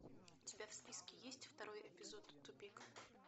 у тебя в списке есть второй эпизод тупик